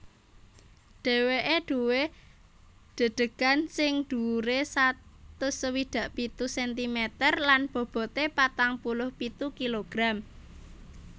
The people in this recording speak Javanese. Dhèwèké duwé dedegan sing dhuwuré satus swidak pitu sentimeter lan bobote patang puluh pitu kilogram